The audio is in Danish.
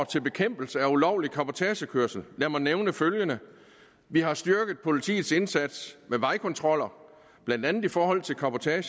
til bekæmpelse af ulovlig cabotagekørsel lad mig nævne følgende vi har styrket politiets indsats med vejkontroller blandt andet i forhold til cabotage